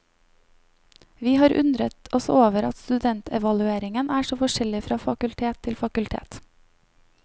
Vi har undret oss over at studentevalueringen er så forskjellig fra fakultet til fakultet.